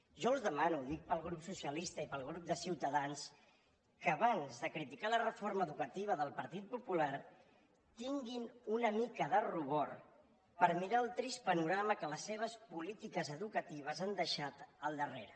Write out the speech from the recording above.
jo els demano ho dic pel grup socialista i pel grup de ciutadans que abans de criticar la reforma educativa del partit popular tinguin una mica de rubor per mirar el trist panorama que les seves polítiques educatives han deixat al darrere